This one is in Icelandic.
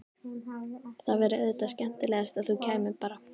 Það væri auðvitað skemmtilegast að þú kæmir bara!